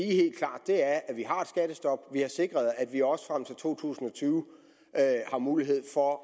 skattestop vi har sikret at vi også frem til to tusind og tyve har mulighed for